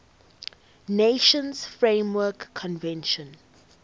nations framework convention